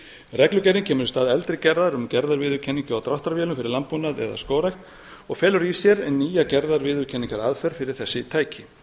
reglugerðin kemur í stað eldri gerðar um gerðarviðurkenningu á dráttarvélar fyrir landbúnað eða skógrækt og felur í sér nýja gerðarviðurkenningaraðferð fyrir þessi tæki